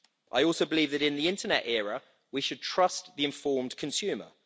I also believe that in the internet era we should trust the informed consumer.